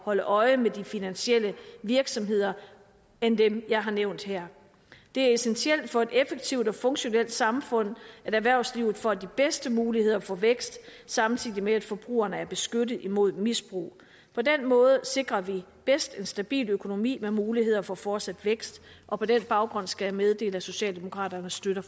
holde øje med de finansielle virksomheder end dem jeg har nævnt her det er essentielt for et effektivt og funktionelt samfund at erhvervslivet får de bedste muligheder for vækst samtidig med at forbrugerne er beskyttet mod misbrug på den måde sikrer vi bedst en stabil økonomi med muligheder for fortsat vækst og på den baggrund skal jeg meddele at socialdemokraterne støtter